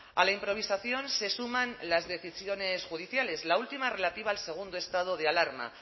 a la improvisación se suman las decisiones judiciales la última relativa al segundo estado de alarma